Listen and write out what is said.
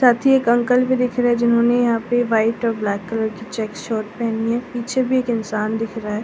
साथ ही एक अंकल भी दिख रहा है जिन्होंने यहां पे वाइट और ब्लैक कलर की चेक शर्ट पहनी है पीछे भी एक इंसान दिख रहा है।